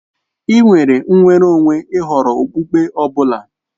Ị́ nwere nnwere onwe ì họrọ okpukpe ọ bụla.